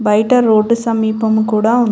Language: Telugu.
బయట రోడ్డు సమీపము కూడా ఉం --